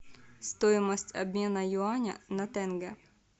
стоимость обмена юаня на тенге